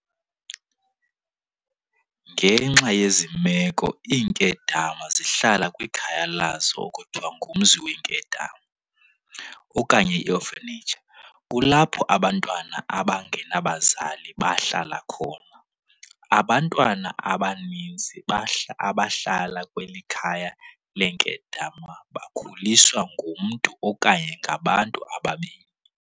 Ngenxa yezi meko iinkedama zihlala kwikhaya lazo ekuthiwa ngumzi weenkedama, okanye i-orphanage, kulapho abantwana abangenabazali bahlala khona. Abantwana abaninzi abahlala kweli khaya leenkedama bakhuliswa ngumntu okanye ngabantu ababini.